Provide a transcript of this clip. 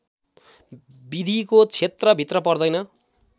विधिको क्षेत्रभित्र पर्दैन